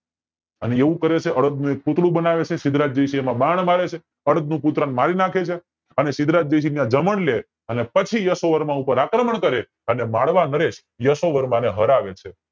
અને એવું કરે છે અડદ નું એક પૂતળું બનાવે છે સિદ્ધરાજ જયસિંહ એમાં બાણ મારે છે અડદન નું પૂતળાને મારી નાખે છે અને સિદ્ધરાજ જયસિંહ ને ત્યાં લે અને પછી યશોવર્મા ઉપર આક્રમણ કરે છે અને માળવા નરેશ યશોવર્મા ને હરાવે છે